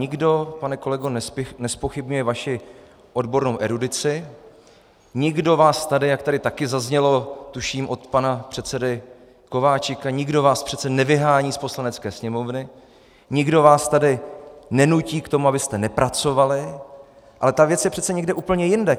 Nikdo, pane kolego, nezpochybňuje vaši odbornou erudici, nikdo vás tady, jak tady také zaznělo tuším od pana předsedy Kováčika, nikdo vás přece nevyhání z Poslanecké sněmovny, nikdo vás tady nenutí k tomu, abyste nepracovali, ale ta věc je přece někde úplně jinde.